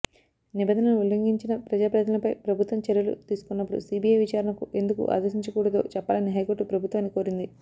నిబంధనలు ఉల్లంఘించిన ప్రజా ప్రతినిధులపై ప్రభుత్వం చర్యలు తీసుకొన్నప్పుడు సీబీఐ విచారణకు ఎందుకు ఆదేశించకూడదో చెప్పాలని హైకోర్టు ప్రభుత్వాన్ని కోరింది